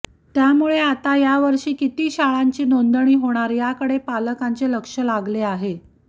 त्यामुळे आता यावर्षी किती शाळांची नोंदणी होणार याकडे पालकांचे लक्ष लागले आहे